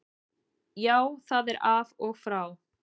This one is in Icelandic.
Já, það er af og frá.